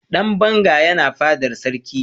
dan banga yana fadar sarki